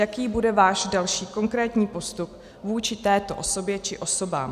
Jaký bude váš další konkrétní postup vůči této osobě či osobám?